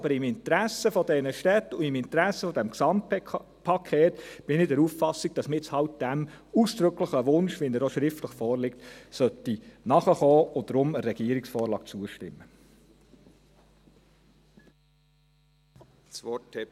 Aber im Interesse dieser Städte und im Interesse dieses Gesamtpakets bin ich der Auffassung, dass wir dem ausdrücklichen Wunsch, wie er hier schriftlich vorliegt, nachkommen und deshalb der Regierungsvorlage zustimmen sollten.